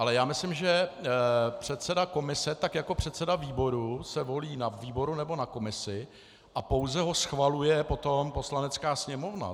Ale já myslím, že předseda komise tak jako předseda výboru se volí na výboru nebo na komisi a pouze ho schvaluje potom Poslanecká sněmovna.